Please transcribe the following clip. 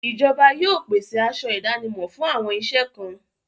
Ìjọba yóò pèsè aṣọ ìdánimọ̀ fún àwọn iṣẹ́ kan.